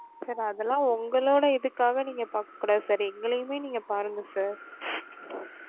sir அதலாம் உங்களோட இதுக்காக நீங்க பாக்க கூடாது sir எங்களையுமே நீங்க பாருங்க sir